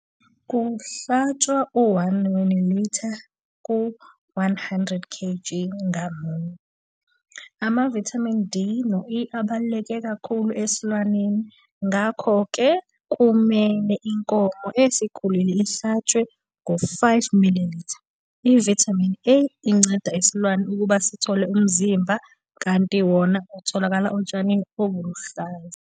Kuhlatshwa u-1 ml ku-100 kg ngamunye. Amavithamini D no-E abalulekile kakhulu esilwaneni, ngakho-ke kumele inkomo esikhulile ihlatshwe ngo-5 ml. Ivithamini A inceda isilwane ukuba sithole umzimba, kanti wona utholakala otshanini obuluhlaza.